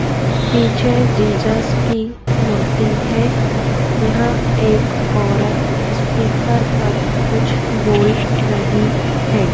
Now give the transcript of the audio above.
पीछे जीजस की मूर्ति है यहां एक औरत स्पीकर पर कुछ बोल रही है।